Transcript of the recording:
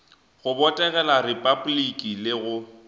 go botegela repabliki le go